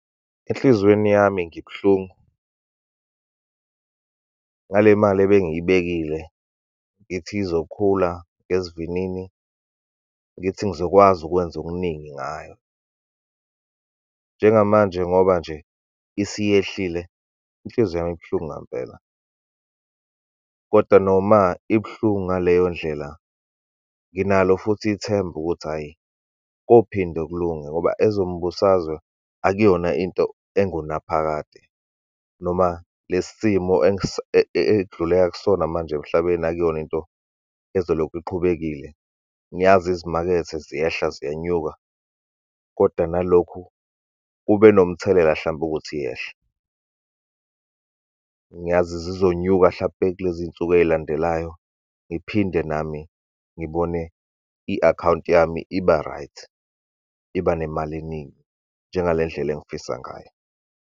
Enhlizweni yami ngibuhlungu ngale mali ebengiyibekile ngithi izokhula ngesivinini, ngithi ngizokwazi ukwenza okuningi ngayo. Njengamanje ngoba nje isiyehlile, inhliziyo yami ibuhlungu ngampela, kodwa noma ibuhlungu ngaleyo ndlela, nginalo futhi ithemba, ukuthi, hhayi kophinde kulunge, ngoba ezombusazwe akuyona into engunaphakade, noma le simo ekudluleka kusona manje emhlabeni, akuyona into ezolokhu iqhubekile. Ngiyazi izimakethe ziyehla, ziyenyuka, kodwa nalokhu kube nomthelela, hlampe ukuthi yehle. Ngiyazi zizonyuka, hlampe kulezi y'nsuku ey'landelayo, ngiphinde nami ngibone i-akhawunti yami iba right, iba nemali eningi, njengale ndlela engifisa ngayo.